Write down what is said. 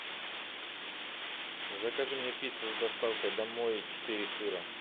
закажи мне пиццу с доставкой домой четыре сыра